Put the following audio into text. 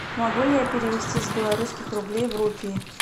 могу ли я перевести с белорусских рублей в рупии